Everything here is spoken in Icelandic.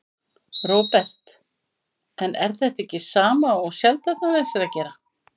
Róbert: En er þetta ekki sama og Seltjarnarnes er að gera?